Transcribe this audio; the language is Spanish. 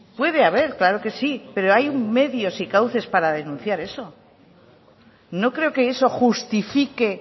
puede haber claro que sí pero hay medios y cauces para denunciar eso no creo que eso justifique